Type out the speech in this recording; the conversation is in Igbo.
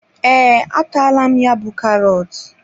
Ee, a taala m ya bú karọt.